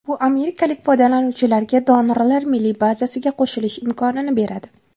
Bu amerikalik foydalanuvchilarga donorlar milliy bazasiga qo‘shilish imkonini beradi.